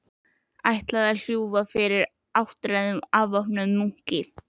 Ætlaði ég að lúffa fyrir áttræðum óvopnuðum munki?